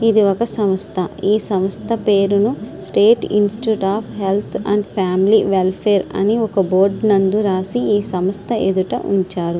ఇది ఒక సమస్త. ఈ సమస్త పేరును state institute of health and family welfare అని ఒక బోర్డు నందు రాసి ఈ సమస్త ఎదుట ఉంచారు.